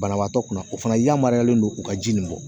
Banabaatɔ kunna o fana yamaruyalen don u ka ji nin kɔ